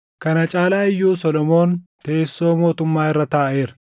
Kana caalaa iyyuu Solomoon teessoo mootummaa irra taaʼeera.